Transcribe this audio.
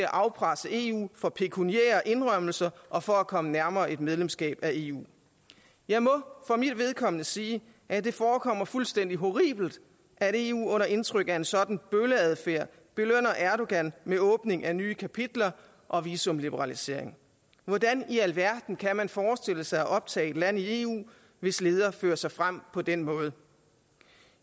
afpresse eu for pekuniære indrømmelser og for at komme nærmere medlemskab af eu jeg må for mit vedkommende sige at det forekommer fuldstændig horribelt at eu under indtryk af en sådan bølleadfærd belønner erdogan med åbning af nye kapitler og visumliberalisering hvordan i alverden kan man forestille sig at optage et land i eu hvis leder fører sig frem på den måde